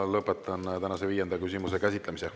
Lõpetan tänase viienda küsimuse käsitlemise.